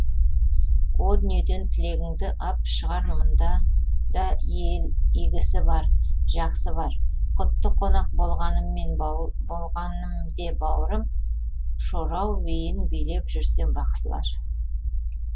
о дүниеден тілегіңді ап шығар мұнда да ел игісі бар жақсы бар құтты қонақ болғаным де бауырым шорау биін билеп берсе бақсылар